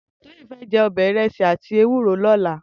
Toyin fè jè irèsí àtí òbè éwúró lòlá